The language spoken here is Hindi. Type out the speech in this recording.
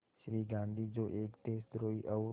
श्री गांधी जो एक देशद्रोही और